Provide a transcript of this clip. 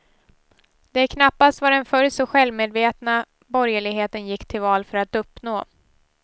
Det är knappast vad den förr så självmedvetna borgerligheten gick till val för att uppnå.